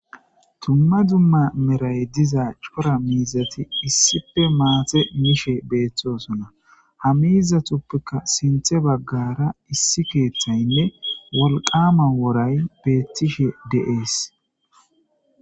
Dumma dumma meray diza miizati maata issippee mishe doosona.ha miizatappe heni baggara wolqama woray beettishe de7ees.